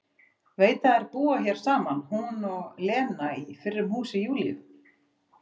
Veit að þær búa hér saman hún og Lena í fyrrum húsi Júlíu.